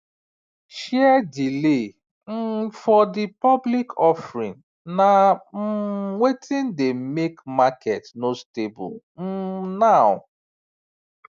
share delay um for the public offering na um wetin dey make market no stable um now